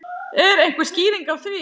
Er einhver skýring á því?